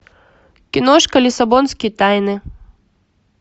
киношка лиссабонские тайны